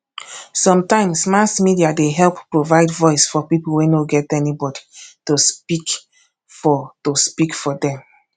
sometimes mass media dey help provide voice for people wey no get anybody to speak for to speak for them